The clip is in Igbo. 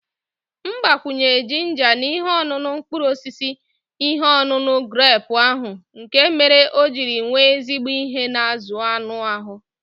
M gbakwunyere ginger na ihe ọṅụṅụ mkpụrụ osisi ihe ọṅụṅụ grepu ahụ nkè mèrè ọ jírí nwèrè ezigbo ihe na azụ anụ ahụ